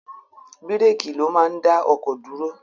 Bíréékì ló máa ń dá ọkọ̀ dúró.